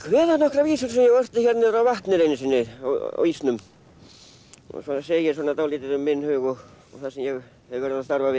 kveða nokkrar vísur sem ég orti hérna niður á vatninu einu sinni á ísnum og það segir svona dálítið um minn hug og það sem ég hef verið að starfa við